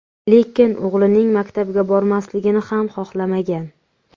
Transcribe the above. Lekin o‘g‘lining maktabga bormasligini ham xohlamagan.